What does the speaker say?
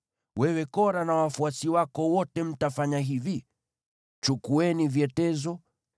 Wewe Kora na wafuasi wako wote mtafanya hivi: Chukueni vyetezo,